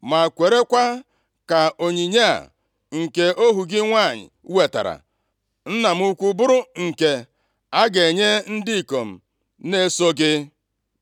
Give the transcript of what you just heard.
Ma kwerekwa ka onyinye a, nke ohu gị nwanyị wetaara nna m ukwu, bụrụ nke a ga-enye ndị ikom na-eso gị.